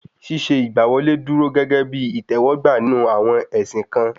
Ṣíṣe ìgbà wọlé dúró gégé bí ìtẹ̀wọ́gbà nínú àwọn ẹ̀sìn kan